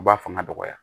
U b'a fanga dɔgɔya